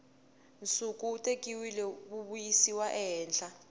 nsuku wu tekiwile wuyisiwa ehandle